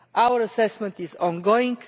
Our assessment is ongoing.